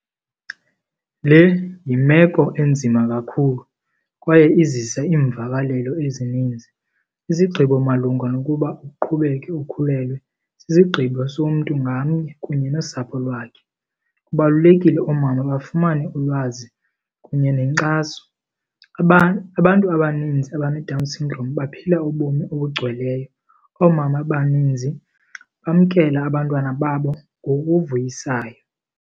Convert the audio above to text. Le yimeko enzima kakhulu kwaye izisa iimvakalelo ezininzi. Isigqibo malunga nokuba uqhubeke ukhulelwe sisigqibo somntu ngamnye kunye nosapho lwakhe. Kubalulekile oomama bafumane ulwazi kunye nenkxaso. Abantu abaninzi abaneDown syndrome baphila ubomi obugcweleyo. Oomama abaninzi bamkela abantwana babo ngokuvuyisayo.